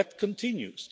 But that continues.